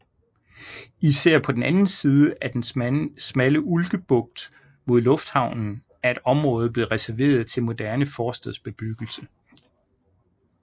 Især på den anden side af den smalle Ulkebugt mod lufthavnen er et område blevet reserveret til moderne forstadsbebyggelse